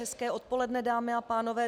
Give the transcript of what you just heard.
Hezké odpoledne, dámy a pánové.